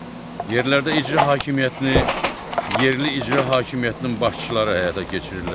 Yerlərdə icra hakimiyyətini yerli icra hakimiyyətinin başçıları həyata keçirirlər.